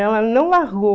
Ela não largou.